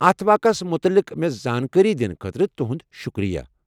اتھ واقعس متعلق مےٚ زانٛکٲری دنہٕ خٲطرٕ تہنٛد شُکریہ۔